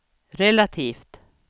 relativt